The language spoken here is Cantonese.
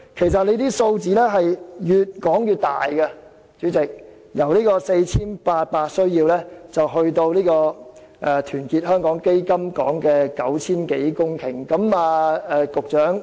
主席，有關數字越說越大，已由 4,800 公頃增加至團結香港基金所說的超過 9,000 公頃。